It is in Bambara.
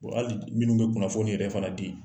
Hali minnu bɛ kunnafoni ni yɛrɛ fana di